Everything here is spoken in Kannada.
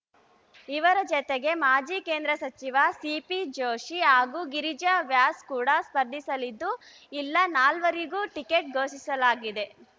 ಇವರ ಜತೆಗೆ ಮಾಜಿ ಕೇಂದ್ರ ಸಚಿವ ಸಿಪಿ ಜೋಶಿ ಹಾಗೂ ಗಿರಿಜಾ ವ್ಯಾಸ್‌ ಕೂಡ ಸ್ಪರ್ಧಿಸಲಿದ್ದು ಇಲ್ಲ ನಾಲ್ವರಿಗೂ ಟಿಕೆಟ್‌ ಘೋಷಿಸಲಾಗಿದೆ